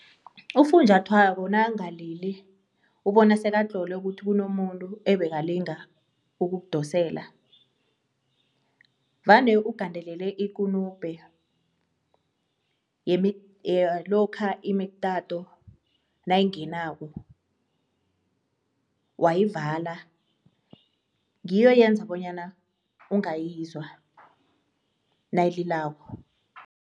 Ufunjathwako nakangalili ubona sekatlolwe ukuthi kunomuntu ebekalinga ukukudosela vane ugandelele ikunubhe yalokha imitato nayingenako, wayivala ngiyo eyenza bonyana ungayizwa nayililako.